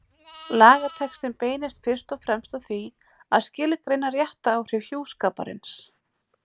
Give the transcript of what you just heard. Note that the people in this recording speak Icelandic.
Lagatextinn beinist fyrst og fremst að því að skilgreina réttaráhrif hjúskaparins.